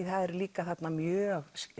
það eru líka þarna mjög